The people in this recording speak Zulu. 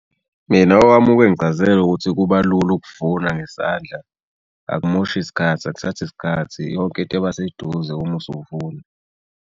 Mina owami uke engichazele ukuthi kuba lula ukuvuna ngezandla. Akamoshi sikhathi akuthathi sikhathi yonke into iba seduze uma usuvuna.